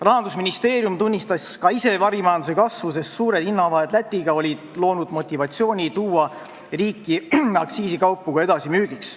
Rahandusministeerium tunnistas ka ise varimajanduse kasvu, sest suured vahed Läti ja Eesti hindades olid loonud motivatsiooni tuua riiki aktsiisikaupu ka edasimüügiks.